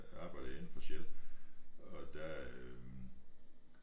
Arbejdede jeg inde på Shell og der øh